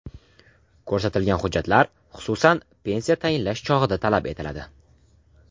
Ko‘rsatilgan hujjatlar, xususan, pensiya tayinlash chog‘ida talab etiladi.